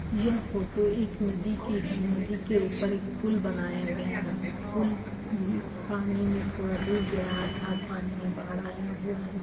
यह फ़ोटो एक नदी की है नदी के ऊपर एक पुल बनाया गया है पुल भी पानी में थोड़ा डुब गया है अर्थात पानी में बाढ़ आया हुआ है।